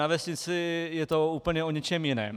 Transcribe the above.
Na vesnici je to úplně o něčem jiném.